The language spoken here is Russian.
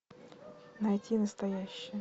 найти настоящее